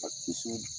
A ti sɔn